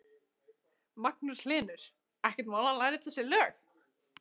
Magnús Hlynur: Ekkert mál að læra öll þessi lög?